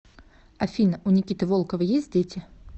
афина у никиты волкова есть дети